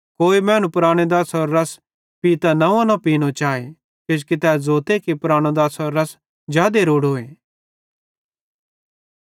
कोई मैनू पुरानो दाछ़रो रस पीतां नव्वीं न पीनी चाए किजोकि तै ज़ोते कि पुरानो दाछ़रो रस जादे रोड़ोए